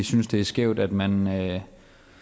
synes det er skævt at man vil have